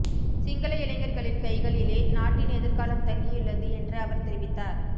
சிங்கள இளைஞர்களின் கைகளிலே நாட்டின் எதிர்காலம் தங்கியுள்ளது என்று அவர் தெரிவித்தார்